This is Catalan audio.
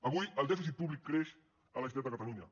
avui el dèficit públic creix a la generalitat de catalunya